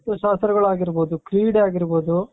ಶಾಸ್ತ್ರಗಳಾಗಿರಬಹುದು ಕ್ರೀಡೆ ಆಗಿರಬಹುದು